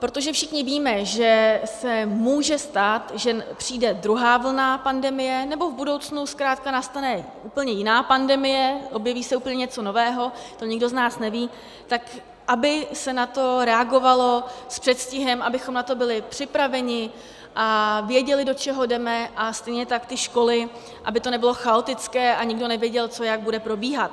Protože všichni víme, že se může stát, že přijde druhá vlna pandemie, nebo v budoucnu zkrátka nastane úplně jiná pandemie, objeví se úplně něco nového, to nikdo z nás neví, tak aby se na to reagovalo s předstihem, abychom na to byli připraveni a věděli, do čeho jdeme, a stejně tak ty školy, aby to nebylo chaotické a nikdo nevěděl, co jak bude probíhat.